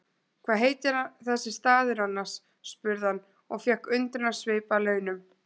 Hvað heitir þessi staður annars? spurði hann og fékk undrunarsvip að launum.